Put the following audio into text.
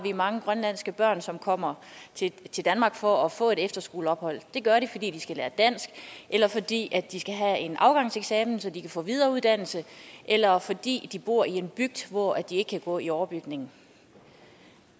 mange grønlandske børn som kommer til danmark for at få et efterskoleophold det gør de fordi de skal lære dansk eller fordi de skal have en afgangseksamen så de kan få videreuddannelse eller fordi de bor i en bygd hvor de ikke kan gå i overbygningen